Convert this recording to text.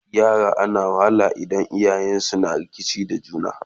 yara na wahala idan iyayensun na rikici da juna